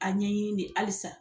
ƆA ɲɛɲini de halisa